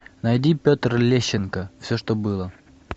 найди петр лещенко все что было